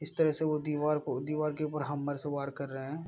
इस तरह से वो दीवार को दिवार के ऊपर हैमर से वार कर रहे हैं।